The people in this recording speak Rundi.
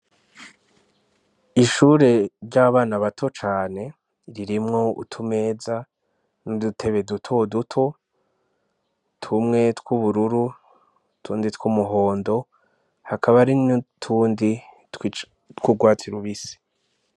Ishure ry'abana bato cane ririmwo utumeza n'udutebe duto duto tumwe tw'ubururu tundi tw'umuhondo hakaba ari no tundi tw'ugwata iraubisi.